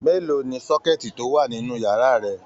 Mélòó ní sọkẹ̀tí to wà nínú yàrá rẹ?